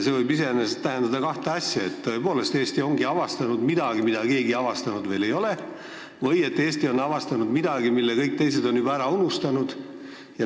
See võib iseenesest tähendada kahte asja: tõepoolest, Eesti ongi avastanud midagi, mida keegi veel avastanud ei ole, või Eesti on avastanud midagi, mille kõik teised on juba ära unustanud.